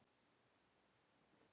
Sjáumst þá.